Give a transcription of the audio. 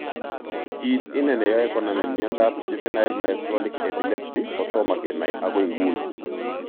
Kit ine ne yoe konamin miondap juvenile myoclonic epilepsy kotomo kenai agoi nguni.